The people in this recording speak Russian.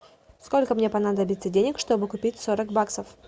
сколько мне понадобится денег чтобы купить сорок баксов